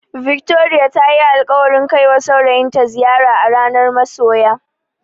Victoria tayi alƙawarin kaiwa saurayinta ziyara a ranar masoya.